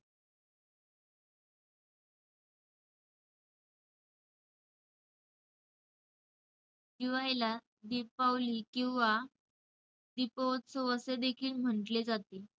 दिवाळीला 'दीपावली' किंवा 'दिपउत्सव' असेदेखील म्हंटले जाते.